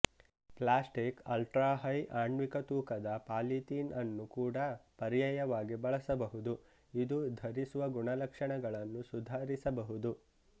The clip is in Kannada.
ಪ್ಲ್ಯಾಸ್ಟಿಕ್ ಅಲ್ಟ್ರಾ ಹೈಆಣ್ವಿಕತೂಕದಪಾಲಿತೀನ್ ಅನ್ನು ಕೂಡ ಪರ್ಯಾಯವಾಗಿ ಬಳಸಬಹುದು ಇದು ಧರಿಸುವ ಗುಣಲಕ್ಷಣಗಳನ್ನು ಸುಧಾರಿಸಬಹುದು